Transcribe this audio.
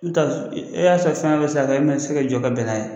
I be taa e e y'a sɔ fɛn wɛrɛ bɛ se ka kɛ e ma se ka jɔ ka bɛn n'a ye.